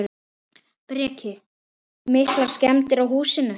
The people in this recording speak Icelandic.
Breki: Miklar skemmdir á húsinu?